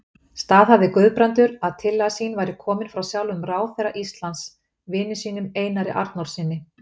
Staðhæfði Guðbrandur, að tillaga sín væri komin frá sjálfum ráðherra Íslands, vini sínum, Einar Arnórssyni.